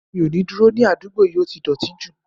Mi ò ní dúró ní àdúgbò yìí, ó ti dọ̀ọ̀tí jù